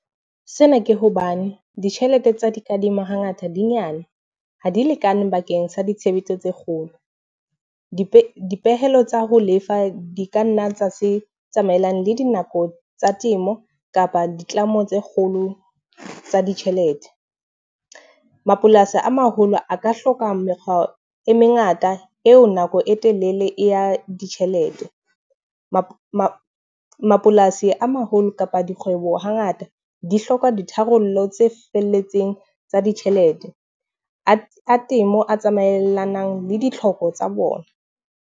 Sena ke hobane ditjhelete tsa dikadimo ha ngata di nyane, ha di lekane bakeng sa ditshebetso tse kgolo. Dipe dipehelo tsa ho lefa di kanna tsa se tsamaellang le dinako tsa temo kapa ditlamo tse kgolo tsa ditjhelete. Mapolasi a maholo a ka hloka mekgwa e mengata eo nako e telele ya ditjhelete. Mapolasi a haholo kapa dikgwebo ha ngata di hloka ditharollo tse felletseng tsa ditjhelete, a temo a tsamaelanang le ditlhoko tsa bona.